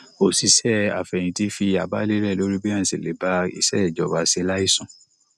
òṣìṣẹ afẹyinti fi àbá lélẹ lórí bí ènìyàn ṣe le ba iṣé ìjọba ṣe láìsùn